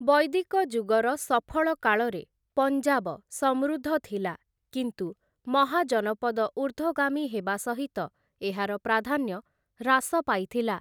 ବୈଦିକ ଯୁଗର ସଫଳ କାଳରେ ପଞ୍ଜାବ ସମୃଦ୍ଧ ଥିଲା, କିନ୍ତୁ ମହାଜନପଦ ଉର୍ଦ୍ଧ୍ୱଗାମୀ ହେବା ସହିତ ଏହାର ପ୍ରାଧାନ୍ୟ ହ୍ରାସ ପାଇଥିଲା ।